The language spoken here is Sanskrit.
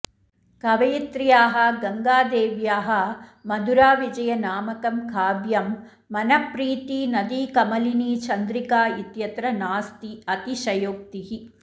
कवयित्र्याः गङ्गादेव्याः मधुराविजयनामकं काव्यं मनःप्रीतिनदीकमलिनीचन्द्रिका इत्यत्र नास्ति अतिशयोक्तिः